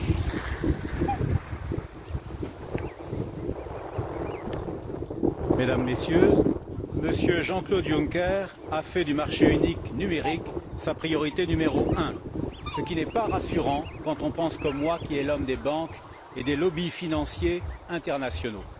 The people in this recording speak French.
Madame la Présidente, Mesdames et Messieurs, M. Jean Claude Juncker a fait du marché unique numérique sa priorité numéro un, ce qui n'est pas rassurant quand on pense, comme moi, qu'il est l'homme des banques et des lobbies financiers internationaux.